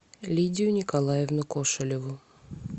лидию николаевну кошелеву